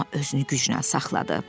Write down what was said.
amma özünü gücnən saxladı.